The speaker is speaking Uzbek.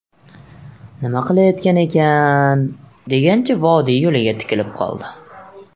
Nima qilayotgan ekan, degancha vodiy yo‘liga tikilib qoldi.